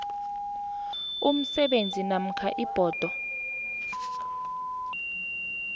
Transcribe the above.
umsebenzi namkha ibhodo